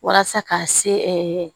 Walasa ka se